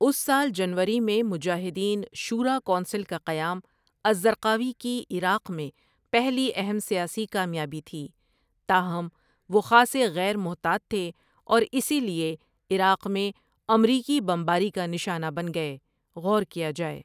اس سال جنوری میں مجاہدین شوریٰ کونسل کا قیام الزرقاوی کی عراق میں پہلی اہم سیاسی کامیابی تھی تاہم وہ خاصے غیر محتاط تھے اور اسی لیے عراق میں امریکی بمباری کا نشانہ بن گئے غور کیا جائے ۔